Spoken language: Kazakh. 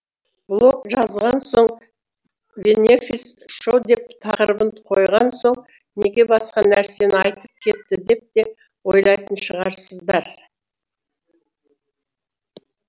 блог жазған соң бенефис шоу деп тақырыбын қойған соң неге басқа нәрсені айтып кетті деп те ойлайтын шығарсыздар